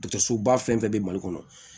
Dɔkɔtɔrɔsoba fɛn fɛn bɛ mali kɔnɔ